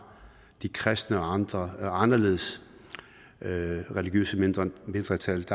de kristne og andre anderledes religiøse mindretal